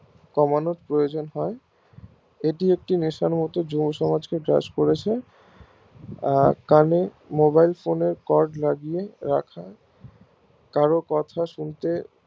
কমানোর প্রয়োজন হয় এটি একটি বিস্তার গত যুব সমাজ কে গ্রাস করেছে আহ কানে Mobile phone এর cord লাগিয়ে রাখা কারোর কথা শুনতে